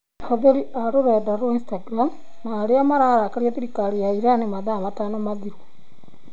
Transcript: Ahũthĩri a rũrenda rwa Instagramu na arĩa mararakaria thirikari ya Iran mathaa matano mathiru